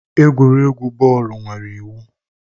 Egwuregwu bọọlụ nwere iwu